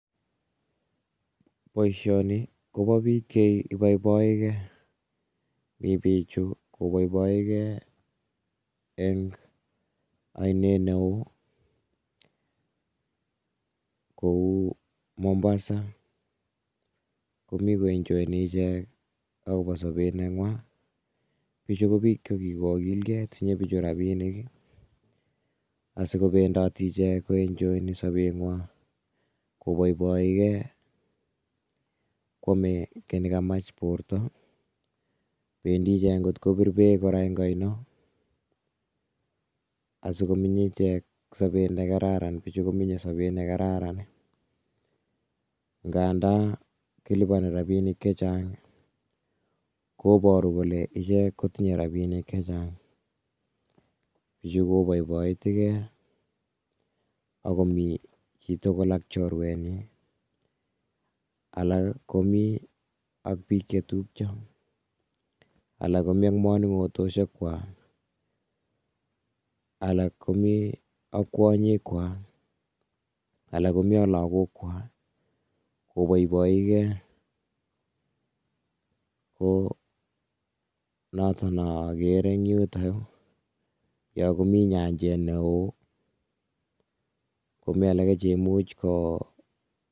Boisioni kobo biik che iboiboi ge. Mi bichu koboiboige eng oine neoo kou Mombasa, komi koenjoini ichek akobo sobe neng'wa. Bichu ko biik che kikokilge tinye bichu robinik asikobendoti icheket ko enjoyeni sobeng'wa, koboiboi ge kwame kiiy ne kamach borta, bendi ichek kotko bir beek kora eng oino, asikominy ichek sobe ne kararan. Bichu ko minye sobe ne kararan nganda kiliponi robinik che chang koboru kole icheke ko tinye robinik che chang, ye koboiboiti ge akomi chitugul ak chorwenyi, alak komi ak biik che tupcho, alak komi ak moning'otosiek kwa, alak komi ak kwonyikwa, alak komi ak lakokwa koboiboige ko noton ne agere eng yutoyo, ya komi nyanjet neoo komi alage che much ko